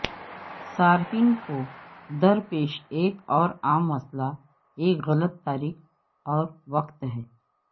صارفین کو درپیش ایک اور عام مسئلہ ایک غلط تاریخ اور وقت ہے